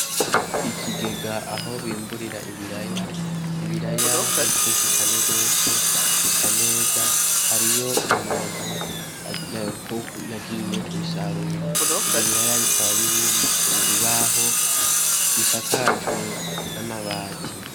Ikigega aho bimburira ibiraya, ibiraya ni vyinshi cane gose bisa neza hariyo umuntu yagiye kubisarura, ivyo biraya bikaba biri ku bibaho bisakajwe n'amabati.